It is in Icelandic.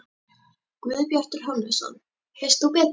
Guðbjartur Hannesson: Veist þú betur?